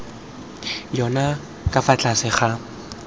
yona ka fa tlase ga